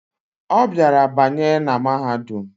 Obiara banye na mahadum